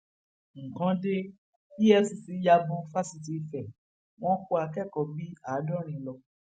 nǹkan de efcc ya bo fáṣítì ife wọn kó akẹkọọ bíi àádọrin lọ